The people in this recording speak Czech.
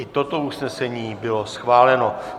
I toto usnesení bylo schváleno.